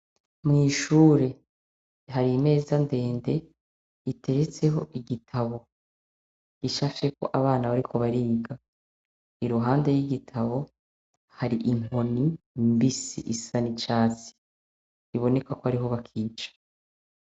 Mw'ishure hari imeza ndende, iteretseho igitabo. Icafyeko abana bariko bariga. Iruhande y'igitabo, hari inkoni mbisi isa n'icatsi. Biboneka ko ariho bakiyica.